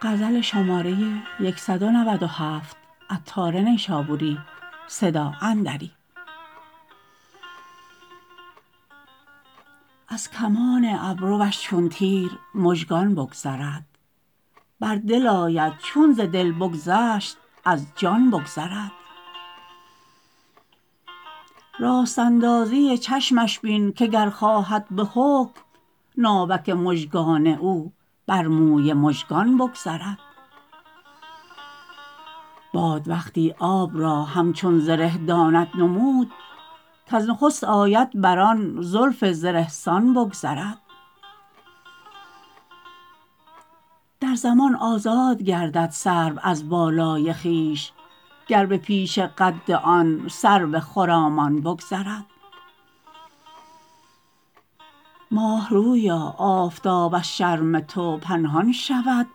از کمان ابروش چون تیر مژگان بگذرد بر دل آید چون ز دل بگذشت از جان بگذرد راست اندازی چشمش بین که گر خواهد به حکم ناوک مژگان او بر موی مژگان بگذرد باد وقتی آب را همچون زره داند نمود کز نخست آید بر آن زلف زره سان بگذرد در زمان آزاد گردد سرو از بالای خویش گر به پیش قد آن سرو خرامان بگذرد ماه رویا آفتاب از شرم تو پنهان شود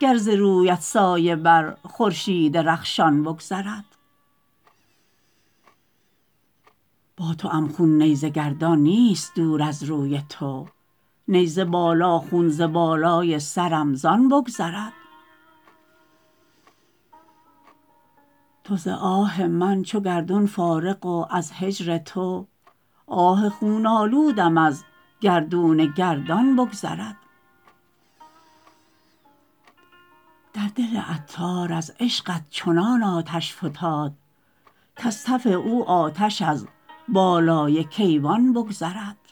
گر ز رویت سایه بر خورشید رخشان بگذرد با توام خون نیزه گردان نیست دور از روی تو نیزه بالا خون ز بالای سرم زان بگذرد تو ز آه من چو گردون فارغ و از هجر تو آه خون آلودم از گردون گردان بگذرد در دل عطار از عشقت چنان آتش فتاد کز تف او آتش از بالای کیوان بگذرد